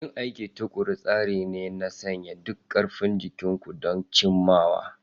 Yin aiki tuƙuru tsari ne na sanya duk ƙarfin ku don cimmawa.